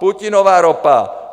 Putinova ropa!